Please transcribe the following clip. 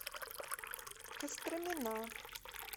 костромина